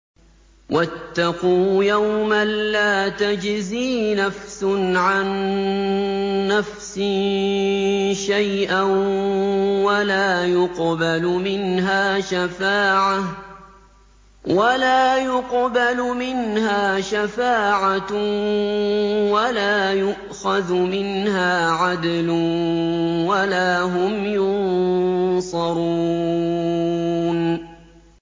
وَاتَّقُوا يَوْمًا لَّا تَجْزِي نَفْسٌ عَن نَّفْسٍ شَيْئًا وَلَا يُقْبَلُ مِنْهَا شَفَاعَةٌ وَلَا يُؤْخَذُ مِنْهَا عَدْلٌ وَلَا هُمْ يُنصَرُونَ